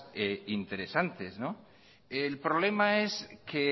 interesantes el problema es que